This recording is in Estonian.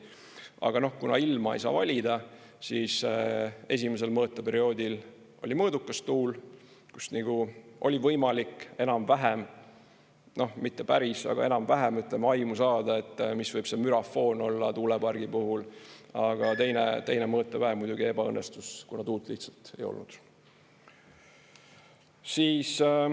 Aga noh, kuna ilma ei saa valida, siis esimesel mõõteperioodil oli mõõdukas tuul, kus nagu oli võimalik enam-vähem – mitte päris, aga enam-vähem – aimu saada, mis võib see mürafoon olla tuulepargi puhul, aga teine mõõtepäev muidugi ebaõnnestus, kuna tuult lihtsalt ei olnud.